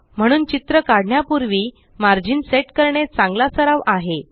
म्हणून चित्र काढण्यापूर्वी मार्जिन सेट करणे चांगला सराव आहे